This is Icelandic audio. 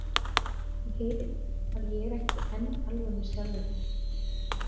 Þú heyrir að ég er ekki enn alveg með sjálfri mér.